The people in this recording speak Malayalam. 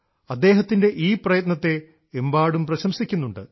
അദ്ദേഹത്തിൻറെ ഈ പ്രയത്നത്തെ എമ്പാടും പ്രശംസിക്കുന്നുണ്ട്